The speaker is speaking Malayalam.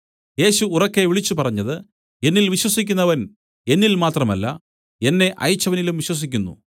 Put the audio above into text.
യേശു ഉറക്കെ വിളിച്ചുപറഞ്ഞത് എന്നിൽ വിശ്വസിക്കുന്നവൻ എന്നിൽ മാത്രമല്ല എന്നെ അയച്ചവനിലും വിശ്വസിക്കുന്നു